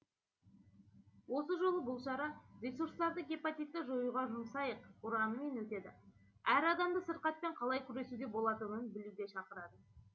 осы жолы бұл шара ресурстарды гепатитті жоюға жұмсайық ұранымен өтеді әр адамды сырқатпен қалай күресуге болатынын білуге шақырады